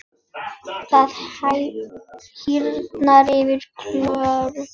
Það hýrnar yfir Klöru.